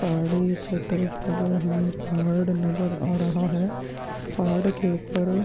पहाड़ी क्षेत्र पर हमें पहाड़ नज़र आ रहा है पहाड़ के ऊपर--